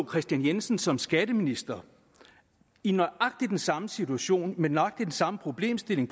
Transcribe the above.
kristian jensen som skatteminister i nøjagtig den samme situation med nøjagtig den samme problemstilling